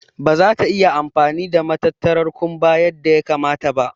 Ɓa ta iya amfani da matattarar kumɓa yadda ya kamata ba.